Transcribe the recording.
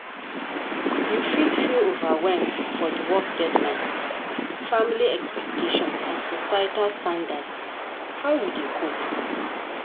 You fit feel overwhelmed for di work deadlines, family expectations and societal standards, how you dey cope?